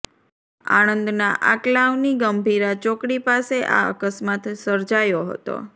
આણંદના આંકલાવની ગંભીરા ચોકડી પાસે આ અકસ્માત સર્જાયો હતો